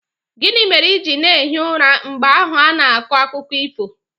Gịnị mere ị ji na-ehi ụra mgbe ahụ a na-akọ akụkọ ifo